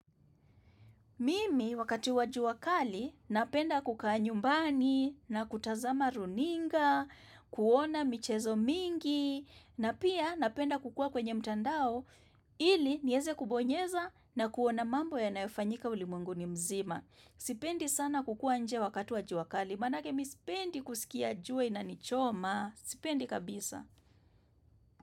Mimi wakati wajua wa kali, napenda kuka nyumbani, na kutazama runinga, kuona michezo mingi, na pia napenda kukua kwenye mtandao, ili nieze kubonyeza na kuona mambo yanayofanyika ulimwenguni mzima. Sipendi sana kukua nje wakati wa jua kali, maanake mi sipendi kusikia jua inanichoma, sipendi kabisa.